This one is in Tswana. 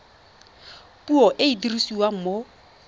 puo e e dirisiwang mo